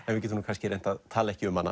við getum reynt að tala ekki um hana